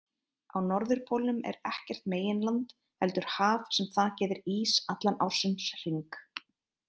Á norðurpólnum er ekkert meginland heldur haf sem þakið er ís allan ársins hring.